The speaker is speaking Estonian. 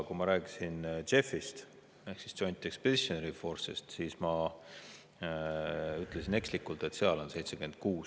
Kui ma rääkisin JEF-ist ehk Joint Expeditionary Force'ist, siis ma ütlesin ekslikult, et seal on meie 76.